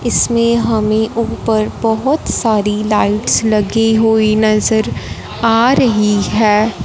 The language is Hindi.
इसमें हमें ऊपर बहोत सारी लाइट्स लगी हुई नजर आ रही है।